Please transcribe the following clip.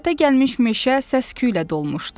Hərəkətə gəlmiş meşə səsküylə dolmuşdu.